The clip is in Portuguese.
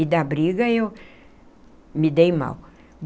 E da briga eu me dei mal.